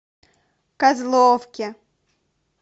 козловке